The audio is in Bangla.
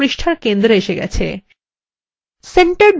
বৃত্তটি পৃষ্ঠার centre এসে গেছে